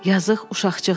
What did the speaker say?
Yazıq uşaqcığaz.